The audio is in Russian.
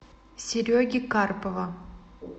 сереги карпова